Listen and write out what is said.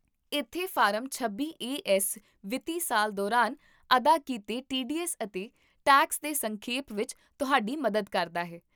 ਇੱਥੇ ਫਾਰਮ ਛੱਬੀ A S ਵਿੱਤੀ ਸਾਲ ਦੌਰਾਨ ਅਦਾ ਕੀਤੇ ਟੀਡੀਐੱਸ ਅਤੇ ਟੈਕਸ ਦੇ ਸੰਖੇਪ ਵਿੱਚ ਤੁਹਾਡੀ ਮਦਦ ਕਰਦਾ ਹੈ